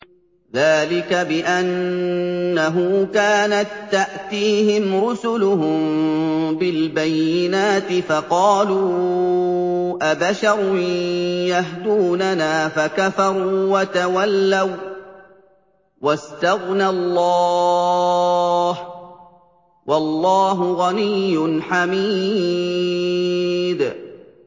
ذَٰلِكَ بِأَنَّهُ كَانَت تَّأْتِيهِمْ رُسُلُهُم بِالْبَيِّنَاتِ فَقَالُوا أَبَشَرٌ يَهْدُونَنَا فَكَفَرُوا وَتَوَلَّوا ۚ وَّاسْتَغْنَى اللَّهُ ۚ وَاللَّهُ غَنِيٌّ حَمِيدٌ